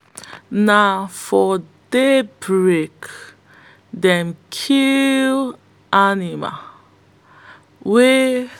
na for daybreak them kill animal wey